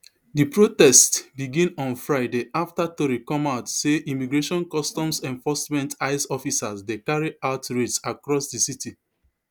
di protests begin on friday affta tori come out say immigration customs enforcement ice officers dey carry out raids across di city